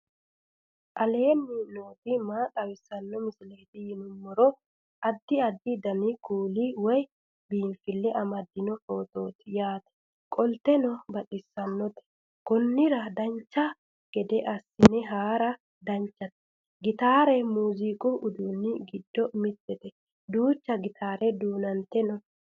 aleenni nooti maa xawisanno misileeti yinummoro addi addi dananna kuula woy biinsille amaddino footooti yaate qoltenno baxissannote konnira dancha gede assine haara danchate gitaare muziiqu uduunni giddo mittete duucha gitaare tuudde no